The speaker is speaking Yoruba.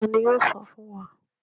Tani yoo sọ fun wa?